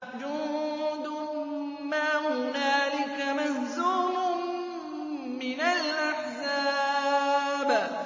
جُندٌ مَّا هُنَالِكَ مَهْزُومٌ مِّنَ الْأَحْزَابِ